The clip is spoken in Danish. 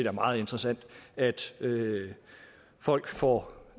er meget interessant at folk får